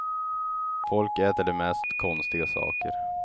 Folk äter de mest konstiga saker.